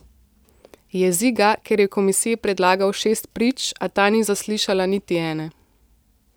Jezi ga, ker je komisiji predlagal šest prič, a ta ni zaslišala niti ene.